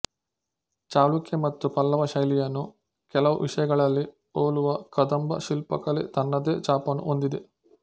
ಚಾಲುಕ್ಯ ಮತ್ತು ಪಲ್ಲವ ಶೈಲಿಯನ್ನು ಕೆಲವು ವಿಷಯಗಳಲ್ಲಿ ಹೋಲುವ ಕದಂಬ ಶಿಲ್ಪಕಲೆ ತನ್ನದೇ ಛಾಪನ್ನು ಹೊಂದಿದೆ